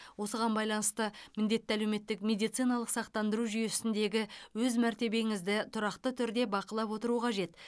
осыған байланысты міндетті әлеуметтік медициналық сақтандыру жүйесіндегі өз мәртебеңізді тұрақты түрде бақылап отыру қажет